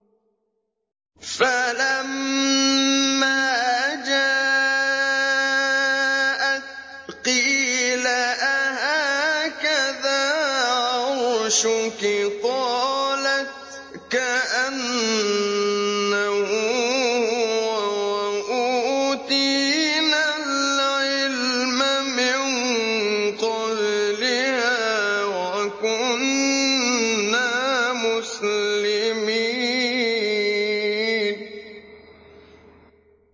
فَلَمَّا جَاءَتْ قِيلَ أَهَٰكَذَا عَرْشُكِ ۖ قَالَتْ كَأَنَّهُ هُوَ ۚ وَأُوتِينَا الْعِلْمَ مِن قَبْلِهَا وَكُنَّا مُسْلِمِينَ